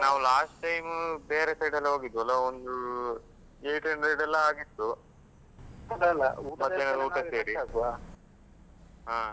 ನಾವು last time ಬೇರೆ side ಎಲ್ಲಾ ಹೋಗಿದ್ವಲ್ಲ ಒಂದು eight hundred ಎಲ್ಲ ಆಗಿತ್ತು ಹಾ.